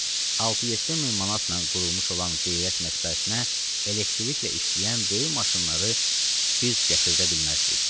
6-7 min manatdan qurulmuş olan Qeyrət mətbəəsinə elektriklə işləyən böyük maşınları biz gətirdə bilməzdik.